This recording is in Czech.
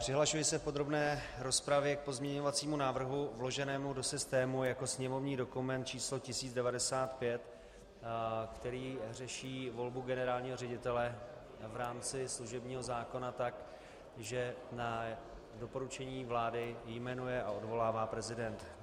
Přihlašuji se v podrobné rozpravě k pozměňovacímu návrhu vloženému do systému jako sněmovní dokument číslo 1095, který řeší volbu generálního ředitele v rámci služebního zákona tak, že na doporučení vlády jmenuje a odvolává prezident.